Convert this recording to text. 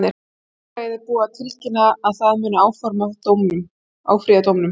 Félagið er búið að tilkynna að það mun áfrýja dómnum.